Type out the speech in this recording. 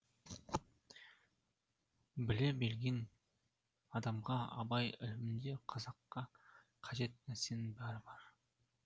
біле білген адамға абай ілімінде қазаққа қажет нәрсенің бәрі бар